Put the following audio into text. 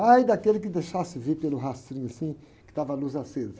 Ai, daquele que deixasse ver pelo rastrinho assim, que estava a luz acesa.